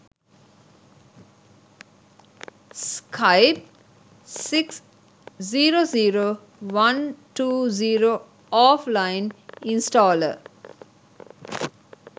skype 6 0 0 120 offline installer